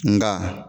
Nga